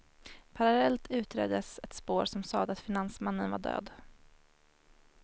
Parallellt utreddes ett spår som sade att finansmannen var död.